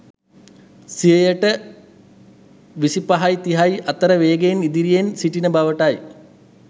සියයට 2530 අතර වේගය අතින් ඉදිරියෙන් සිටින බවටයි